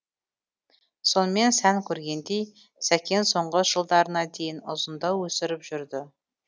сонымен сән көргендей сәкен соңғы жылдарына дейін ұзындау өсіріп жүрді